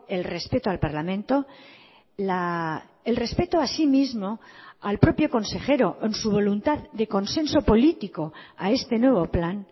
el respeto al parlamento el respeto así mismo al propio consejero en su voluntad de consenso político a este nuevo plan